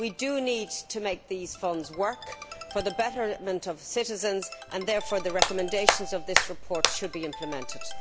We do need to make these funds work for the betterment of citizens and therefore the recommendations of this report should be implemented.